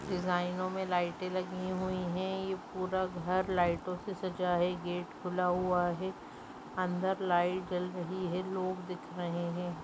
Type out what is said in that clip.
लाइनों में लाइटें लगी हुई हैंये पूरा घर लाइटों से सजा है गेट खुला हुआ है अंदर लाइट जल रही है लोग दिख रहे हैं।